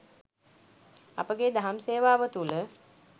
අපගේ දහම් සේවාව තුළ